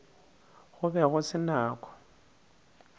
go be go se nako